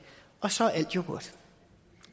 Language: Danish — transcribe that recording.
og så er alt jo godt